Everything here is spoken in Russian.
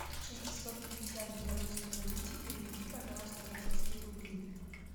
шестисот пятьдесят в белорусской валюте переведи пожалуйста в российские рубли